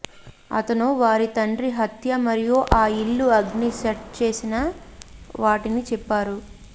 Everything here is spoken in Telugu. అతను వారి తండ్రి హత్య మరియు ఆ ఇల్లు అగ్ని సెట్ చేసిన వాటిని చెప్పారు